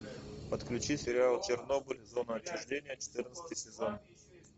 подключи сериал чернобыль зона отчуждения четырнадцатый сезон